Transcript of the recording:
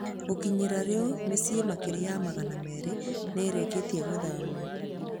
Gũkinyĩria rĩu mĩciĩ makĩria ma magana merĩ nĩ ĩrĩkĩtie gũthamio.